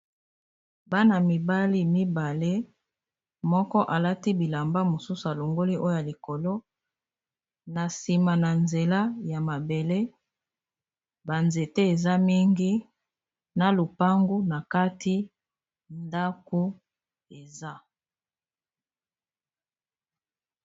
bana mibali mibale moko alati bilamba mosusu alongoli oyoa likolo na nsima na nzela ya mabele banzete eza mingi na lopangu na kati ndako eza